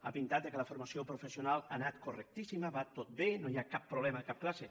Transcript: ha pintat que la formació professional ha anat correctíssima va tot bé no hi ha cap problema de cap classe